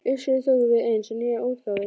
Uppskriftir tóku við eins og nýjar útgáfur.